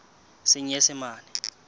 senyesemane